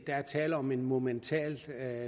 er tale om et momentant